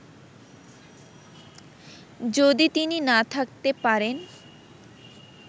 যদি তিনি না থাকতে পারেন